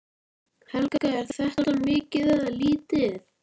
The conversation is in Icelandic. Helga: Er þetta mikið eða lítið?